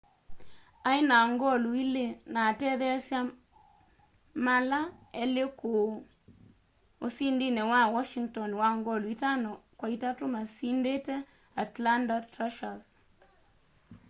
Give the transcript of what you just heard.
aĩ na ngolu ili na atetheesya mala elĩ kũu usindini wa washĩngton wa ngolu itano kwa itatũ masindite atlanta thrashers